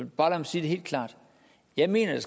bare sige det helt klart jeg mener at